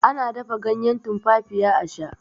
ana dafa ganyen tumfafiya a Sha